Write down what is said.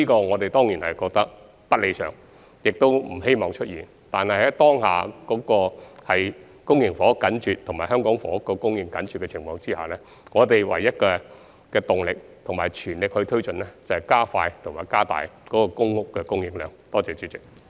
我們當然認為這不是理想情況，也不希望出現這問題，但在當下公營房屋緊絀和香港房屋供應緊張的情況下，唯一的動力和必須全力推進的工作就是加快和加大公屋的供應量。